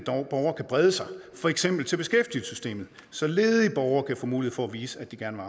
brede sig for eksempel til beskæftigelsessystemet så ledige borgere kan få mulighed for at vise at de gerne